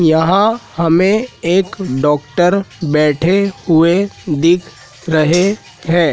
यहां हमें एक डॉक्टर बैठे हुए दिख रहे हैं।